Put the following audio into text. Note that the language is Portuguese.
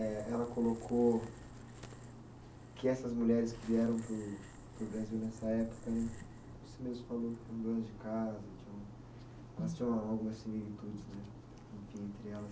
Eh ela colocou que essas mulheres que vieram para o para o Brasil nessa época, você mesmo falocu, eram donas de casa, tinham algumas entre elas.